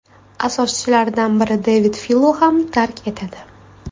asoschilaridan biri Devid Filo ham tark etadi.